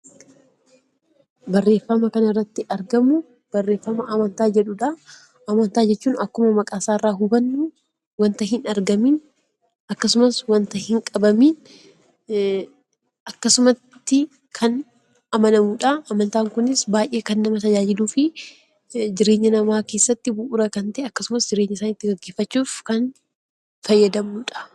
Barreeffama kana irratti argamu, barreeffama amantaa jedhudha. Amantaa jechuun akkuma maqaa isaa irraa hubannu, waanta hin argamiin akkasumas waanta hin qabamiin akkasumatti kan amanamudha. Amantaan kunis baayyee kan nama tajaajiluu fi jireenya namaa keessatti bu'uura kan ta'e , jireenya gaggeeffachuuf kan fayyadamnudha.